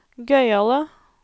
gøyale